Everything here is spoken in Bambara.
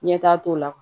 Ɲɛtaa t'o la